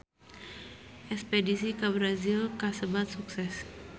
Espedisi ka Brazil kasebat sukses